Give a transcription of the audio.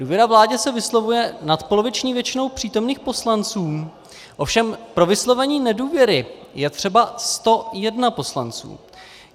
Důvěra vládě se vyslovuje nadpoloviční většinou přítomných poslanců, ovšem pro vyslovení nedůvěry je třeba 101 poslanců.